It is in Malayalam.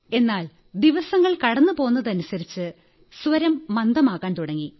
എന്നാൽ ദിവസങ്ങൾ കടന്നുപോതനുസരിച്ച് സ്വരം മന്ദമാകാൻ തുടങ്ങി